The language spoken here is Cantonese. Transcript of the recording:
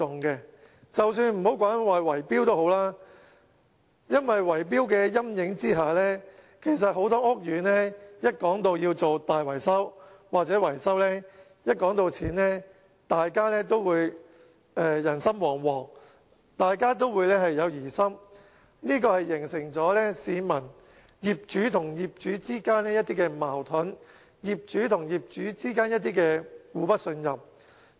我暫且不說圍標，因為在圍標的陰影下，很多屋苑要進行大維修或維修，當討論到費用的時候，大家都會人心惶惶，都有疑心，這形成業主和業主之間一些矛盾、業主和業主之間的互不信任。